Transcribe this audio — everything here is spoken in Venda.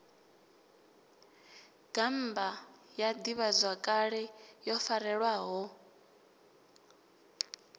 gammba ya ḓivhazwakale yo farelwaho